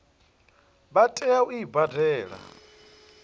vha tea u i badela